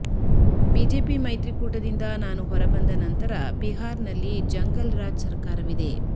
BJP ಮೈತ್ರಿಕೂಟದಿಂದ ನಾನು ಹೊರಬಂದ ನಂತರ ಬಿಹಾರ್ನಲ್ಲಿ ಜಂಗಲ್ ರಾಜ್ ಸರಕಾರವಿದೆ